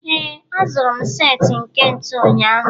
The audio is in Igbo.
ee, azụrụ m set nke ntu ụnyahụ